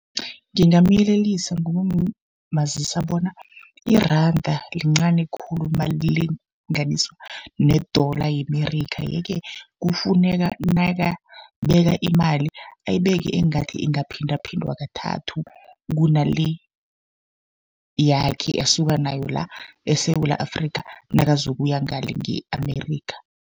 Ngingamyelelisa ngokumazisa bona, iranda lincani khulu nalilinganiswa ne-dollar ye-Amerika. Ye-ke kufuneka nakababeka imali ayibeke engathi ingaphindaphindwa kathathu, kuna le yakhe asuka nayo la eSewula Afrika, nakazokuya ngale nge-Amerika.